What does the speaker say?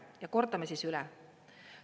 Ja kordame siis üle.